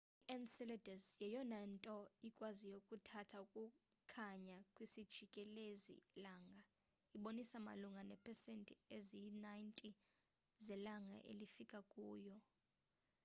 i-enceladus yeyona nto ikwaziyo ukuthatha ukukhanya kwisijikelezi langa ibonisa malunga neepesenti eziyi-90 zelanga elifika kuyo